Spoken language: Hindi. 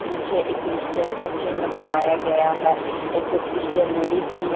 पीछे एक क्रिश्चियन का चिन्ह बनाया गया है एक क्रिश्चियन लेडीज भी है।